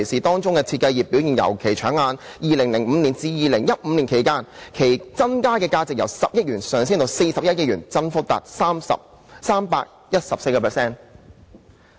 當中設計業的表現尤其搶眼 ，2005 年至2015年期間，其增加價值由10億元上升至41億元，增幅達 314%。